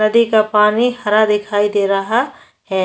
नदी का पानी हरा दिखाई दे रहा है |